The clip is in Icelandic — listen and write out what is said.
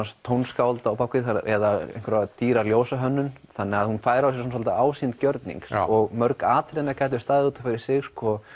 tónskáld á bak við eða einhverja dýra þannig að hún fær á sig ásýnd gjörnings og mörg atriðanna gætu staðið út af fyrir sig